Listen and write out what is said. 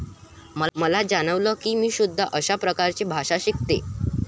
मला जाणवलं कि मी सुद्धा अशाच प्रकारे भाषा शिकते.